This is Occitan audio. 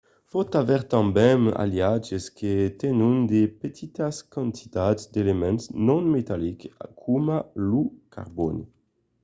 i pòt aver tanben d’aliatges que tenon de petitas quantitats d’elements non-metallics coma lo carbòni